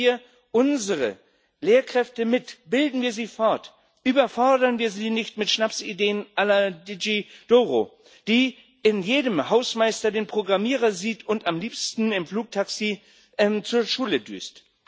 Nehmen wir unsere Lehrkräfte mit, bilden wir sie fort, überfordern wir sie nicht mit Schnapsideen la Digi Doro die in jedem Hausmeister den Programmierer sieht und am liebsten im Flugtaxi zur Schule düst.